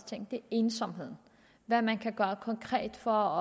ting er ensomheden og hvad man kan gøre konkret for